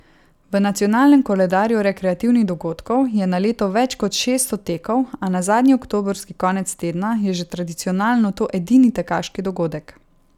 V nacionalnem koledarju rekreativnih dogodkov je na leto več kot šeststo tekov, a na zadnji oktobrski konec tedna je že tradicionalno to edini tekaški dogodek.